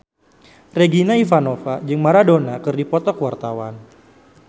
Regina Ivanova jeung Maradona keur dipoto ku wartawan